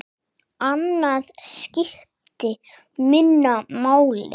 Annað skipti minna máli.